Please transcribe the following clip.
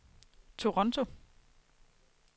Toronto